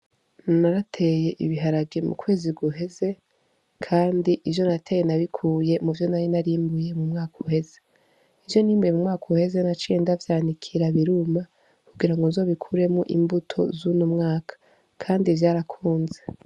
Narateye ibiharage mu kwezi guheze, kandi ivyo nateye nabikuye mu vyo nari narimbuye mu mwaka uheze i vyo nimbuye mu mwaka uheze na cuye ndavyanikira biruma kugira ngo nzobikuremwo imbuto z'uno mwaka, kandi vyarakunze.